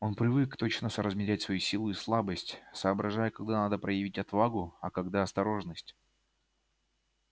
он привык точно соразмерять свою силу и слабость соображая когда надо проявить отвагу а когда осторожность